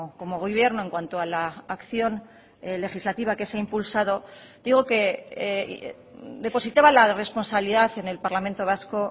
como gobierno en cuanto a la acción legislativa que se ha impulsado digo que depositaba la responsabilidad en el parlamento vasco